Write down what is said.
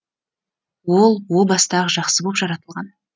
ол о баста ақ жақсы боп жаратылған